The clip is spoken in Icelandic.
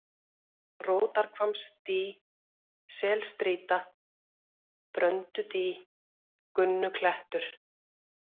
Rótarhvammsdý, Selstrýta, Bröndudý, Gunnuklettur